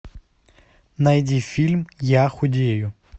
найди фильм я худею